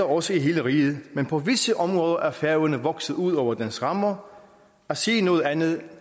også i hele riget men på visse områder er færøerne vokset ud over dens rammer at sige noget andet